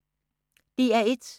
DR1